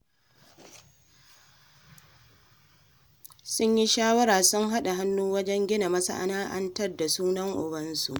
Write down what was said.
Sun yi shawarar sun haɗa hannu wajen gina masana'anta da suna Ubansu.